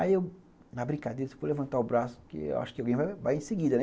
Aí eu, na brincadeira, fui levantar o braço, porque eu acho que alguém vai em seguida, né?